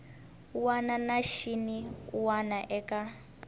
wana na xin wana eka